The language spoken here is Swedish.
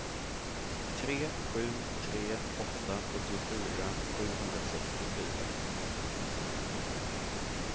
tre sju tre åtta sjuttiofyra sjuhundrasextiofyra